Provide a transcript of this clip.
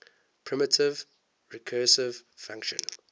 primitive recursive function